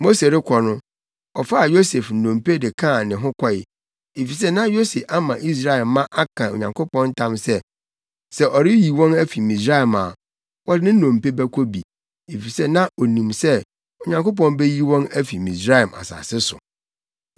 Mose rekɔ no, ɔfaa Yosef nnompe de kaa ne ho kɔe, efisɛ na Yosef ama Israel mma aka Onyankopɔn ntam sɛ, “Sɛ ɔreyi wɔn afi Misraim a, wɔde ne nnompe bɛkɔ bi, efisɛ na onim sɛ Onyankopɔn beyi wɔn afi Misraim asase so.”